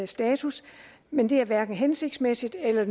status men det er hverken hensigtsmæssigt eller